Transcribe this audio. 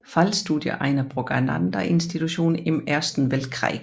Fallstudie einer Propagandainstitution im Ersten Weltkrieg